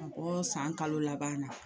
Ka bɔ san kalo laban na.